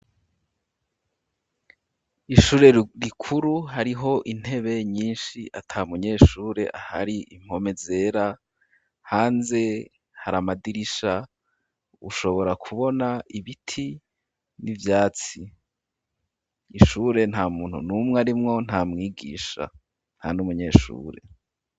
Ishure rikuru hariho intebe nyishi ata munyeshure ahari impome zera hanze haramadirisha ushobora kubona ibiti n'ivyatsi ishure nta muntu numwe arimwo ntamwigisha nta n'umunyeshure.